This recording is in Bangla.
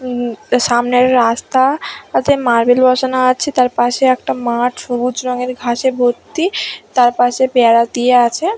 হুম সামনের রাস্তা তাতে মার্বেল বসানো আছে তারপাশে একটা মাঠ সবুজ রঙের ঘাসে ভর্তি তারপাশে পেয়ারা দিয়ে আছে--